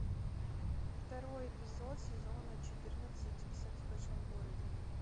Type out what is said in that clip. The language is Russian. второй эпизод сезона четырнадцать секс в большом городе